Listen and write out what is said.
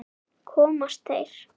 Komast þeir???